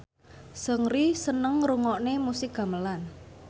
Seungri seneng ngrungokne musik gamelan